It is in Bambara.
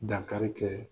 Dankari kɛ